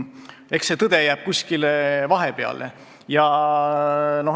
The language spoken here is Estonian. Eks see tõde jää kuskile vahepeale.